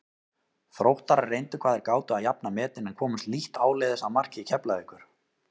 Þróttarar reyndu hvað þeir gátu að jafna metin en komust lítt áleiðis að marki Keflavíkur.